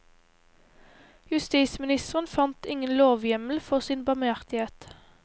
Justisministeren fant ingen lovhjemmel for sin barmhjertighet.